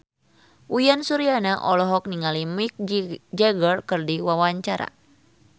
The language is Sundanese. Uyan Suryana olohok ningali Mick Jagger keur diwawancara